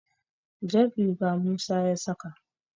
jar riga Musa ya saka